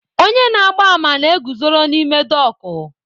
Onye na-agba àmà na-eguzoro n'ime dọọkụ